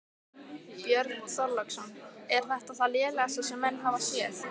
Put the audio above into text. Björn Þorláksson: Er þetta það lélegasta sem menn hafa séð?